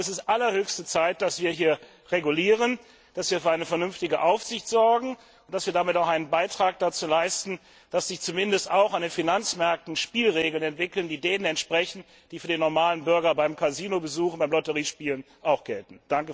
Es ist allerhöchste Zeit, dass wir hier regulieren, dass wir für eine vernünftige Aufsicht sorgen und damit auch einen Beitrag dazu leisten, dass sich zumindest auch an den Finanzmärkten Spielregeln entwickeln, die denen entsprechen, die für den normalen Bürger beim Casino Besuch und bei Lotteriespielen auch gelten.